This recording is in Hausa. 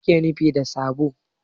Mai ake nufi da saɓo?